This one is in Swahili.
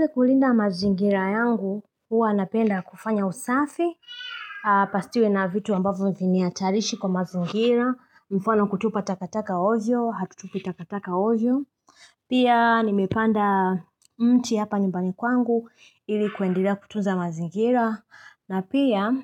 Hili kulinda mazingira yangu, huwa napenda kufanya usafi, pasiwe na vitu ambavyo viniatarishi kwa mazingira, mfano kutupa takataka ojo, hatutupi takataka ojo. Pia nimepanda mti hapa nyumbani kwangu, ili kuendelea kutuza mazingira, na pia